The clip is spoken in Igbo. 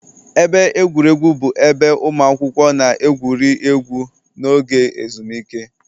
Ebe egwuregwu bụ ebe ụmụ akwụkwọ na-egwuri egwu n'oge ezumike